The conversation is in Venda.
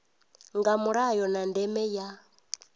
nga mulayo na ndeme ya